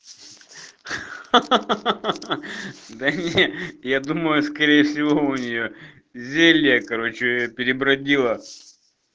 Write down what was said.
ха-ха-ха я думаю скорее всего у нее зелье короче перебродило